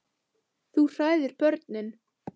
Þú hræðir börnin.